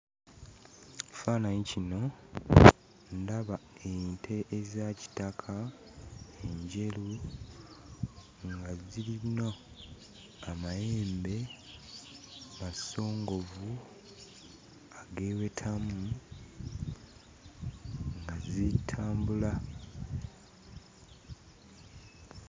Ekifaananyi kino, ndaba ente ezaakitaka, enjeru, nga zirina amayembe masongovu, ageewetamu nga zitambula